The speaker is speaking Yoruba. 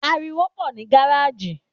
Àrìwó pọ ni gàràjí